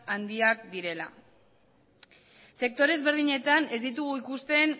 handiak direla sektore ezberdinetan ez ditugu ikusten